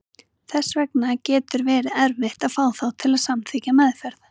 Þess vegna getur verið erfitt að fá þá til að samþykkja meðferð.